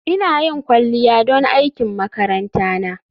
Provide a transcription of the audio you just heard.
Ina yin kwalliya don aikin makaranta na